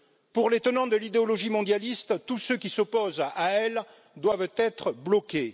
Pour les tenants de l'idéologie mondialiste, tous ceux qui s'opposent à elle doivent être bloqués.